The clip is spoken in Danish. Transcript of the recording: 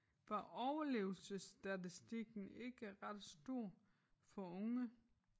Var overlevelsesstatistikken ikke ret stor for unge?